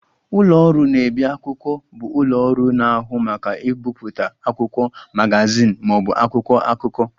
Ụlọ ọrụ na-ebi akwụkwọ bụ ụlọ ọrụ na-ahụ maka ibipụta akwụkwọ, magazin ma ọ bụ akwụkwọ akụkọ